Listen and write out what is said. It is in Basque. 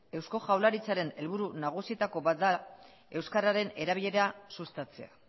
eusko jaurlaritzaren helburu nagusietako bat da euskararen erabilera sustatzea